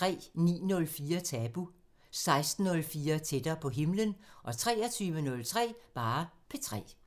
09:04: Tabu 16:04: Tættere på himlen 23:03: P3